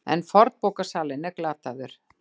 En fornbókasalinn er glataður.